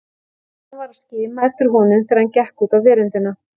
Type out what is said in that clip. Tinna var að skima eftir honum þegar hann gekk út á veröndina.